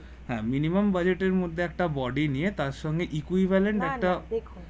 হ্যাঁ Minimum টের মধ্যে একটা budget body নিয়ে তার সঙ্গে equivalent